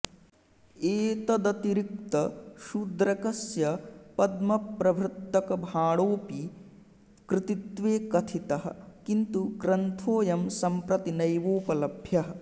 एतदतिरिक्त शूद्रकस्य पद्मप्रभृतकभाणोऽपि कृतित्वे कथितः किन्तु ग्रन्थोंऽयं सम्प्रति नैवोपलभ्यः